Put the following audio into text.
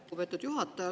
Lugupeetud juhataja!